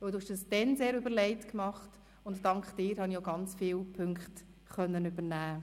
Du hast das damals sehr überlegt gemacht, und viele Punkte konnte ich von dir übernehmen.